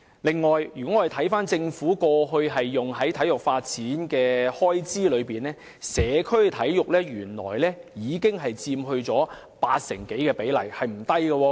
此外，當我們看看政府過去用於體育發展的開支，便會發現社區體育的比例原來已超過八成，比例不小。